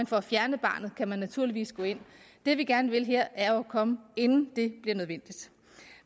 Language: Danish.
for at fjerne barnet kan man naturligvis gå ind det vi gerne vil her er jo at komme inden det bliver nødvendigt